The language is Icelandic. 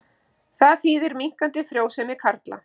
Það þýðir minnkandi frjósemi karla.